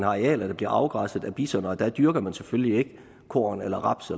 arealerne bliver afgræsset af bison og der dyrker man selvfølgelig ikke korn eller raps